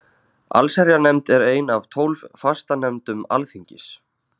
Allsherjarnefnd er ein af tólf fastanefndum Alþingis.